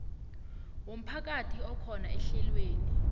womphakathi akhona ehlelweni